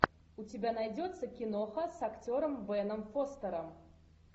у тебя найдется киноха с актером беном фостером